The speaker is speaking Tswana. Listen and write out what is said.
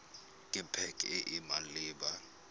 ke pac e e maleba